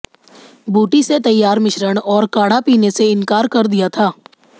बूटी से तैयार मिश्रण और काढ़ा पीने से इंकार कर दिया था